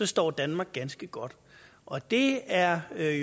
står danmark ganske godt og det er er